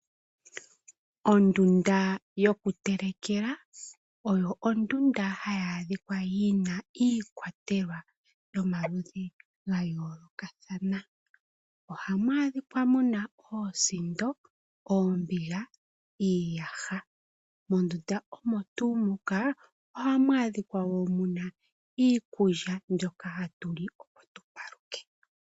Ondunda yokutelekela, oyo ondunda hayi adhika yina iikwatelwa yomaludhi ga yoolokathana. Ohamu adhika muna oosindo, oombiga, iiyaha. Mondunda omo tuu muka ohamu adhika wo muna iikulya mbyoka hatu li opo tupaluke.